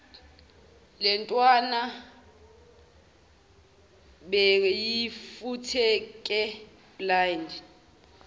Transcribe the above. lentwana beyifutheke blind